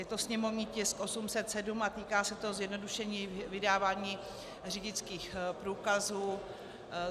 Je to sněmovní tisk 807 a týká se to zjednodušení vydávání řidičských průkazů.